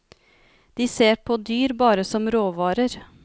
De ser på dyr bare som råvarer.